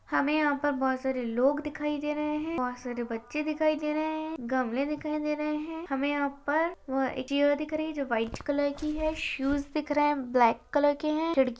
हमे यहाँ पर बहोत सारे लोग दिखाई दे रहे हैं बहोत सारे बच्चे दिखाई दे रहे हैं गमले दिखाई दे रहे हैं हमे यहाँ पर चीज़ और दिख रही हैं जो वाइट कलर की हैं शूज दिख रहे हैं ब्लैक कलर के हैं खिड़की --